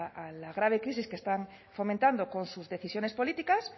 a la grave crisis que están fomentando con sus decisiones políticas